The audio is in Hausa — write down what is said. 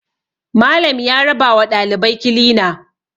Malam ya rabawa ɗalibai kilina